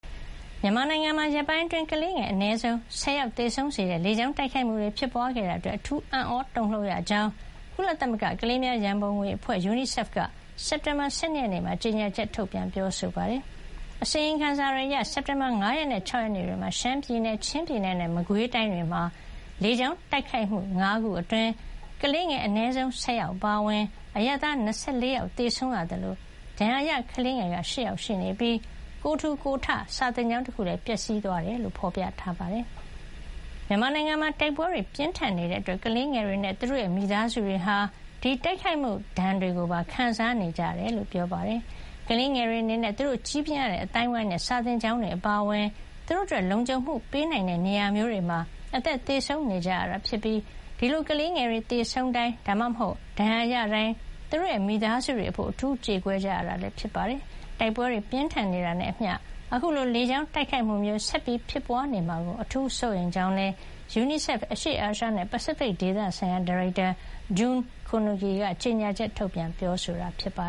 မြန်မာနိုင်ငံမှာ ရက်ပိုင်းအတွင်း ကလေးငယ် အနည်းဆုံး ၁၀ ယောက်သေဆုံးစေတဲ့ လေကြောင်းတိုက်ခိုက်မှုတွေ ဖြစ်ပွါးခဲ့တာ အတွက် အထူး အံ့သြတုန်လှုပ်ရကြောင်း ကုလသမဂ္ဂ ကလေးများရံပုံငွေအဖွဲ့ UNICEF က ကြေညာချက်ထုတ်ပြန်ပါတယ်။ အစီရင်ခံစာတွေအရ စက်တင်ဘာလ ၅ ရက်နဲ့ ၆ ရက်နေ့တွေမှာ ရှမ်းပြည်နယ်၊ ချင်းပြည်နယ်နဲ့ မကွေးတိုင်းတွေမှာလေကြောင်းတိုက်ခိုက်မှု ၅ ခုအတွင်း ကလေးငယ် အနည်းဆုံး ၁၀ ယောက်အပါအဝင် အရပ်သား ၂၄ ယောက် သေဆုံးခဲ့ရသလို ဒဏ်ရာရ ကလေးငယ်က ၈ ယောက် ရှိနေပြီး ကိုယ်ထူကိုယ်ထ စာသင်ကျောင်းတခုလည်း ပျက်စီးသွားခဲ့ကြောင်း ဖေါ်ပြထားပါတယ်။ မြန်မာနိုင်ငံမှာ တိုက်ပွဲတွေ ပြင်းထန်နေတာကြောင့် ကလေးငယ်တွေနဲ့ သူတို့ရဲ့ မိသားစုတွေဟာ ဒီတိုက်ခိုက်မှုဒဏ်တွေကို ပါ ခံစားနေကြရတယ်လို့ ပြောပါတယ်။ ကလေးငယ်တွေအနေနဲ့ သူတို့ ကြီးပြင်းရတဲ့အသိုင်းအဝိုင်းနဲ့ စာသင်ကျောင်းတွေအပါအဝင် သူတို့အတွက် လုံခြုံမှုပေးနိုင်တဲ့နေရာမျိုးတွေမှာ အသက်သေဆုံးနေကြရတာဖြစ်ပြီး ဒီလို ကလေးငယ်တွေသေဆုံးတိုင်း ဒါမှမဟုတ် ဒဏ်ရာရတိုင်း သူတို့ရဲ့ မိသားစုတွေအဖို့ အထူးကြေကွဲ ကြရတာဖြစ်ပါတယ်။ တိုက်ပွဲတွေ ပြင်းထန်နေတာနဲ့အမျှ အခုလို လေကြောင်းတိုက်ခိုက်မှုမျိုး ဆက်ဖြစ်ပွါးနေမှာကို အထူးစိုးရိမ်ကြောင်းလည်း UNIICEF အရှေ့အာရှနဲ့ ပစိဖိတ်ဒေသဆိုင်ရာ ဒါရိုက်တာ June Kunugi ကကြေညာချက် ထုတ်ပြန်ပြောဆိုတာပါ